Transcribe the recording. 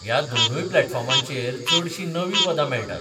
ह्या दोनूय प्लॅटफॉर्मांचेर चडशीं नवीं पदां मेळटात.